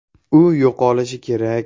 U yo‘qolishi kerak.